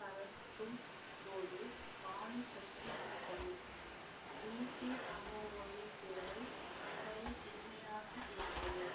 கரக்கும் போது பாணி சத்தம் கேட்டது பிபி அமரோவின் குரல் மிகவும் இனிமையாக இருந்தது